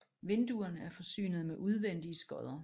Vinduerne er forsynet med udvendige skodder